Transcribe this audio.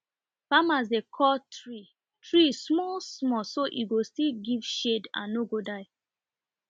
farmers dey cut tree tree smallsmall so e go still give shade and no go die